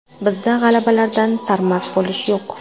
Bizda g‘alabalardan sarmast bo‘lish yo‘q.